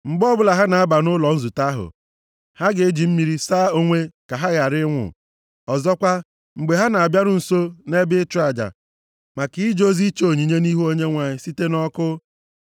Mgbe ọbụla ha na-aba nʼụlọ nzute ahụ, ha ga-eji mmiri saa onwe ka ha ghara ịnwụ. Ọzọkwa, mgbe ha na-abịaru nso nʼebe ịchụ aja, maka ije ozi iche onyinye nʼihu Onyenwe anyị site nʼọkụ,